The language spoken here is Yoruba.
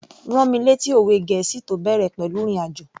Rán mi lẹ́tí òwe gẹ̀ẹ́sì tó bẹ̀rẹ̀ pẹ̀lú ìrìn àjò